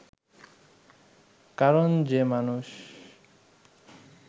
কারণ যে মানুষ